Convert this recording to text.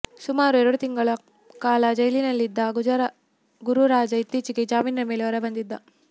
ಸುಮಾರು ಎರಡು ತಿಂಗಳ ಕಾಲ ಜೈಲಿನಲ್ಲಿದ್ದ ಗುರುರಾಜ ಇತ್ತೀಚೆಗೆ ಜಾಮೀನಿನ ಮೇಲೆ ಹೊರಬಂದಿದ್ದ